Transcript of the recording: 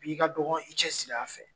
i ka dɔgɔ i cɛsiri a fɛ.